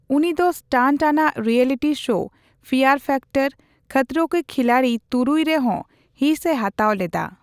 ᱩᱱᱤ ᱫᱚ ᱥᱴᱟᱱᱴᱼᱟᱱᱟᱜ reality show Fear Factor Khatron Ke Khiladi ᱛᱩᱨᱩᱭ ᱨᱮᱦᱚᱸ ᱦᱤᱸᱥᱮ ᱦᱟᱛᱟᱣ ᱞᱮᱫᱟ ᱾